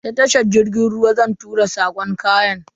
Ta tashar jirgin ruwa zan tura sako kayan.